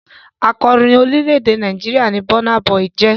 Akọrin orílẹ̀-èdè Nàìjíríà ni Burna Boy jẹ́.